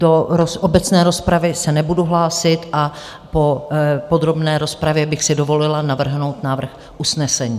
Do obecné rozpravy se nebudu hlásit a po podrobné rozpravě bych si dovolila navrhnout návrh usnesení.